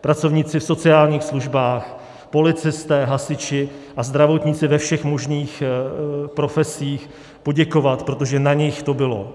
pracovníci v sociálních službách, policisté, hasiči a zdravotníci ve všech možných profesích, poděkovat, protože na nich to bylo.